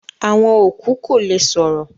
Awọn okú kò lè sọ̀rọ̀